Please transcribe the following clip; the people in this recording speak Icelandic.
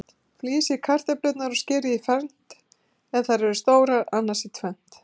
Flysjið kartöflurnar og skerið í fernt, ef þær eru stórar, annars í tvennt.